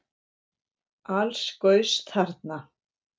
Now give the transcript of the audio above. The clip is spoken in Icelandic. Alls gaus þarna